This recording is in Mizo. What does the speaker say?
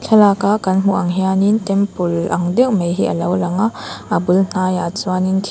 thlalak a kan hmuh ang hian in temple ang deuh mai hi a lo lang a a bul hnaiah chuanin thing--